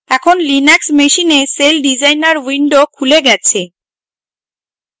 এখন linux machine celldesigner window খুলে গেছে